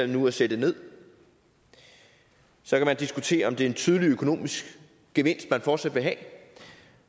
nu at sætte nederst så kan man diskutere om det er en tydelig økonomisk gevinst man fortsat vil have